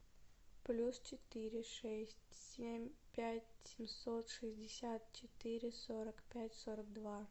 плюс четыре шесть семь пять семьсот шестьдесят четыре сорок пять сорок два